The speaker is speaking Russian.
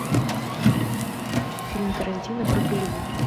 фильм тарантино про голливуд